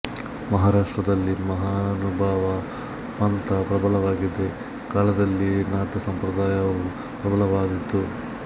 ಮಹಾರಾಷ್ಟ್ರದಲ್ಲಿ ಮಹಾನುಭಾವ ಪಂಥ ಪ್ರಬಲವಾಗಿದ್ದ ಕಾಲದಲ್ಲಿಯೇ ನಾಥ ಸಂಪ್ರದಾಯವೂ ಪ್ರಬಲವಾಗಿದ್ದಿತು